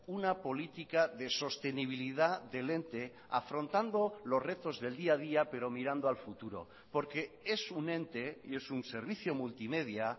una política de sostenibilidad del ente afrontando los retos del día a día pero mirando al futuro porque es un ente y es un servicio multimedia